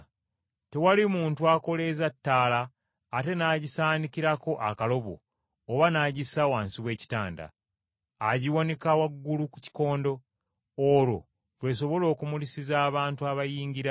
“Tewali muntu akoleeza ttaala ate nagisaanikirako akalobo oba n’agissa wansi w’ekitanda. Agiwanika waggulu ku kikondo, olwo lw’esobola okumulisiza abantu abayingira.